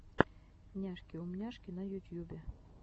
няшки умняшки на ютьюбе